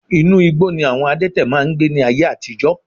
Inú igbó ni àwọn adẹ́tẹ̀ máa ń gbé ní ayé àtijọ́